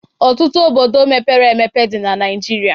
Ọtụtụ obodo mepere emepe dị na Naịjiria.